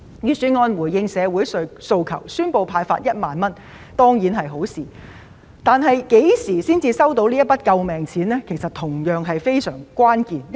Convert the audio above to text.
預算案回應社會訴求，宣布派發1萬元當然是好事，但究竟何時才能收到這筆救命錢，是同樣關鍵的事宜。